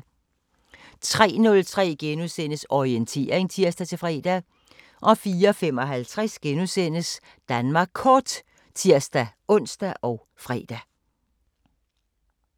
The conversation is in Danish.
03:03: Orientering *(tir-fre) 04:55: Danmark Kort *(tir-ons og fre)